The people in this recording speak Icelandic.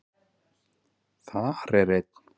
Þar er einn